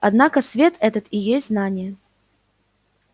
однако свет этот и есть знание